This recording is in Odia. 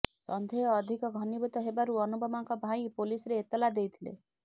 ସନ୍ଦେହ ଅଧିକ ଘନୀଭୂତ ହେବାରୁ ଅନୁପମାଙ୍କ ଭାଇ ପୋଲିସରେ ଏତଲା ଦେଇଥିଲେ